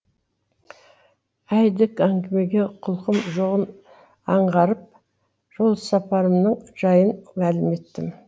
әйдік әңгімеге құлқым жоғын аңғарып жолсапарымның жайын мәлім еттім